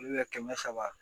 kɛmɛ saba